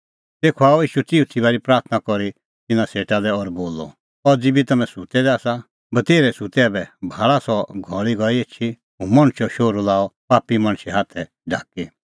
तेखअ आअ ईशू चिऊथी बारी प्राथणां करी तिन्नां सेटा लै और बोलअ अज़ी बी तम्हैं सुत्तै दै आसा बतेर्है सुत्तै ऐबै भाल़ा सह घल़ी गई एछी हुंह मणछो शोहरू लाअ पापी मणछे हाथै ढाकी